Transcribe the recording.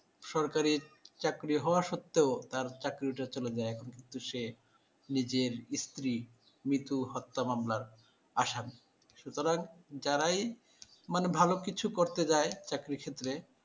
সরকারির চাকরি হওয়া সত্বেও তার চাকরিটা চলে যায় কিন্তু সে নিজের স্ত্রী মিতু হত্যা মামলার আসামি। সুতরাং যারাই মানে ভালো কিছু করতে যায় চাকরির ক্ষেত্রে